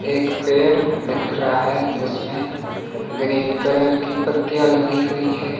एक पेड़ दिख रहा है जिसमें ग्रीन कलर की पत्तियां लगी हुई है।